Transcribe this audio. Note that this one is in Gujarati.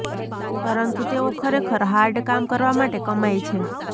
પરંતુ તેઓ ખરેખર હાર્ડ કામ કરવા માટે કમાઇ છે